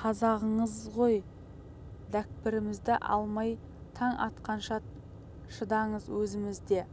қазағыңбыз ғой дәкпірімізді алмай таң атқанша шыдаңыз өзіміз де